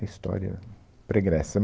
história pregressa.